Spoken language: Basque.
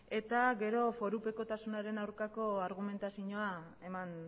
eta gero forupekotasunaren aurkako argumentazioa eman